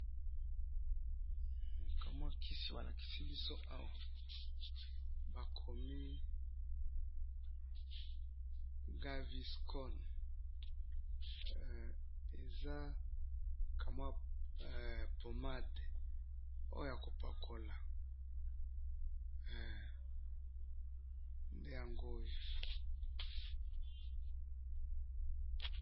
ka mwa kisi ba lakisi biso awa, ba komi gaviscon, eza ka mwa pommade oyo ya ko pakola, nde yangoyo